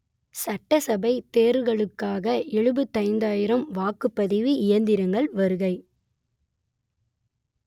சட்டசபை தேர்தலுக்காக எழுபத்தி ஐந்து ஆயிரம் வாக்குப்பதிவு இயந்திரங்கள் வருகை